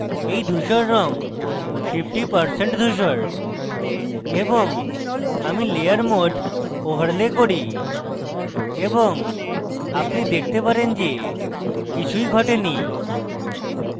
এই ধূসর রঙ 50% ধুসর এবং আমি layer mode overlay করি এবং আপনি দেখতে পারেন যে কিছুই ঘটেনি